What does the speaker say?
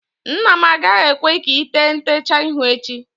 Nna m agaghị ekwe ka ị tee ntecha ihu echi